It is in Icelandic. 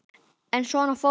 En svona fór þetta bara.